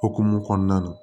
Okumu kɔnɔna na